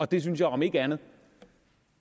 det synes jeg om ikke andet